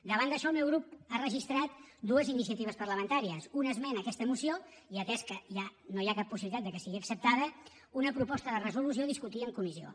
davant d’això el meu grup ha registrat dues iniciatives parlamentàries una esmena a aquesta moció i atès que ja no hi ha cap possibilitat que sigui acceptada una proposta de resolució a discutir en comissió